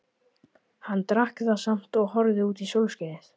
Hann drakk það samt og horfði út í sólskinið.